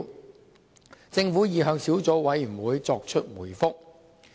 就此，政府已向小組委員會作出回覆。